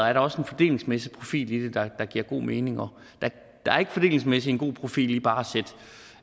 er der også en fordelingsmæssig profil i det der giver god mening der er ikke fordelingsmæssigt en god profil i bare